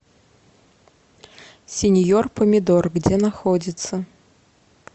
синьор помидор где находится